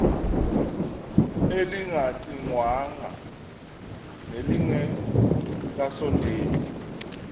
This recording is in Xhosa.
elingaqingqwanga nelinge kasondeli